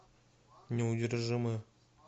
неудержимые